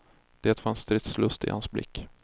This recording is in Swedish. Det fanns stridslust i hans blick.